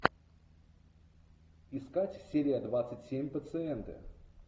искать серия двадцать семь пациенты